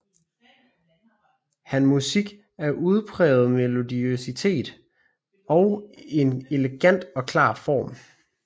Han musik har en udpræget melodiøsitet og en elegant og klar form